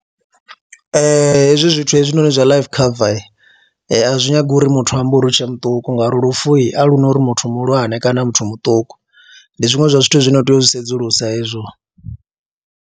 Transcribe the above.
Hezwi zwithu hezwinoni zwa life cover a zwi nyagi uri muthu ambe uri u tshe muṱuku nga uri lufu a lu na uri u muthu muhulwane kana u muthu muṱuku ndi zwiṅwe zwa zwithu zwine u tea u zwi sedzulusa ezwo.